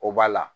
O b'a la